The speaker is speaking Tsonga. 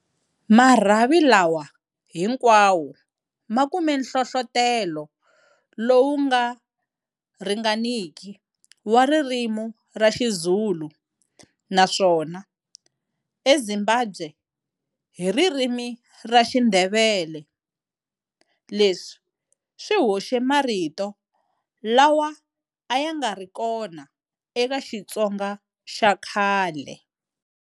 Marhavi lawa hinkwawo ma kume nhlohlotelo lowu nga ringaniki wa ririmi ra Xizulu naswona, eZimbabwe, hi ririmi ra Xindevele. Leswi swi hoxe marito lawa a ya nga ri kona eka Xitsonga xa khale.